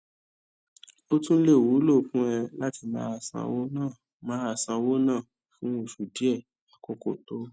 ó tún lè wúlò fún ẹ láti máa ṣówó ná máa ṣówó ná fún oṣù díè àkókó tó o